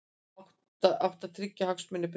Átti að tryggja hagsmuni Breta